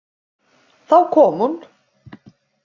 Þá kom hún.